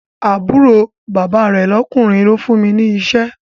Àbúrò bàbá rẹ̀ lọ́kùnrin ló fún mi ní iṣẹ́